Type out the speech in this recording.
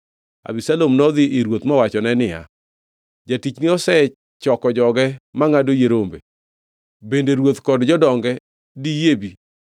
Abisalom nodhi ir ruoth mowachone niya, “Jatichni osechoko joge mangʼado yie rombe. Bende ruoth kod jodonge diyie bi?”